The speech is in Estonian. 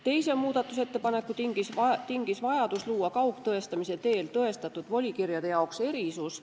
Teise muudatusettepaneku tingis vajadus luua kaugtõestamise teel tõestatud volikirjade jaoks erisus.